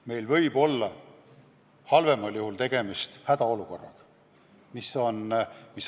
Meil võib halvemal juhul tegemist olla hädaolukorraga.